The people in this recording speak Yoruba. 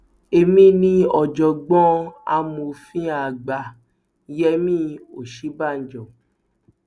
èmi ni ọjọgbọn amòfin àgbà yẹmi òsínbàjò